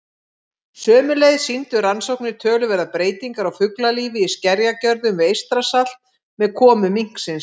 Sömuleiðis sýndu rannsóknir töluverðar breytingar á fuglalífi í skerjagörðum við Eystrasalt með komu minksins.